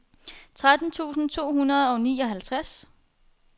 tretten tusind to hundrede og nioghalvtreds